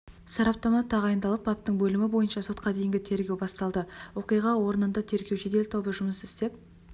сараптама тағайындалып баптың бөлімі бойынша сотқа дейінгі тергеу басталды оқиға орнында тергеу жедел тобы жұмыс істеп